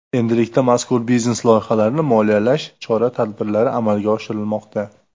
Endilikda mazkur biznes loyihalarni moliyalash chora-tadbirlari amalga oshirilmoqda.